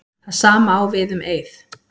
Það sama á við um Eið.